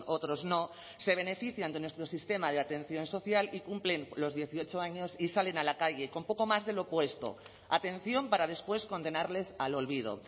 otros no se benefician de nuestro sistema de atención social y cumplen los dieciocho años y salen a la calle con poco más de lo puesto atención para después condenarles al olvido